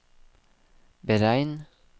beregn